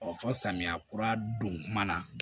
fɔ samiya kura don na